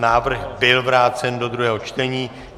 Návrh byl vrácen do druhého čtení.